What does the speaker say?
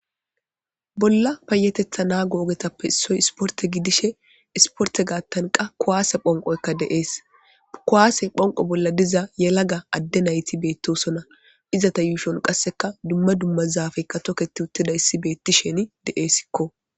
Bolla payatetha nago ogeyappe issoy isporte gidishin isporte gathan qase kuwade phonqoyka de'es kuwade phonqo bolla diza yelaga adde nayti beetosona izeta yushoni qase duma duma zaafeyka toketi uttidaysi betishin de'esiko